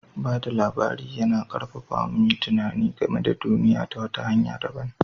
Ba da labari yana ƙarfafa mu mu yi tunani game da duniya ta wata hanya dabam.